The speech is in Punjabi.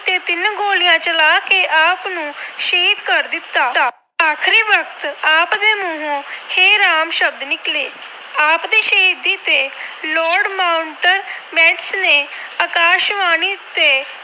ਗੋਲੀਆਂ ਚਲਾ ਕੇ ਆਪ ਨੂੰ ਸ਼ਹੀਦ ਕਰ ਦਿੱਤਾ। ਆਖਰੀ ਵਕਤ ਆਪ ਦੇ ਮੂੰਹੋਂ ਹੇ ਰਾਮ ਸ਼ਬਦ ਨਿਕਲੇ। ਆਪ ਦੀ ਸ਼ਹੀਦੀ ਤੇ Lord Mountbatten ਨੇ ਆਕਾਸ਼ਬਾਣੀ ਤੇ